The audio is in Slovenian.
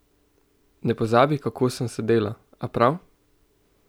Ne pozabi, kako sem sedela, a prav?